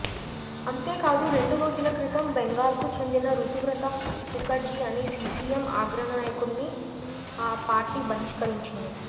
అంతేకాదు రెండురోజుల క్రితం బెంగాల్కు చెందిన రుతువ్రత ముఖర్జీ అని సిపిఎం ఆగ్రనాయకుడ్ని ఆ పార్టీ బహిష్కరించింది